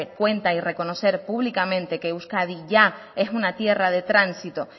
cuenta y reconocer públicamente que euskadi ya es una tierra de tránsito